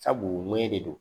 Sabu u mɔyɛn de do